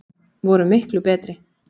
Vorum miklu betri.